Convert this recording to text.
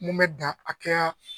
Mun bɛ dan akɛya.